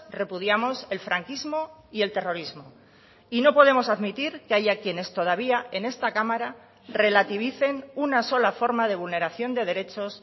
repudiamos el franquismo y el terrorismo y no podemos admitir que haya quienes todavía en esta cámara relativicen una sola forma de vulneración de derechos